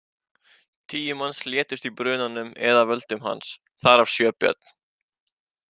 Tíu manns létust í brunanum eða af völdum hans, þar af sjö börn.